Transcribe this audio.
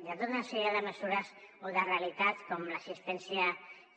hi ha tota una sèrie de mesures o de realitats com l’assistència